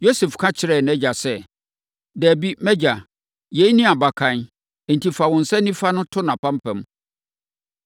Yosef ka kyerɛɛ nʼagya sɛ, “Dabi, mʼagya, yei ne mʼabakan, enti fa wo nsa nifa to nʼapampam.”